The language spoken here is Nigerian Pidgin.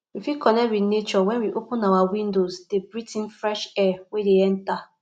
we fit connect with nature when we open our windows de breath in fresh air wey de enter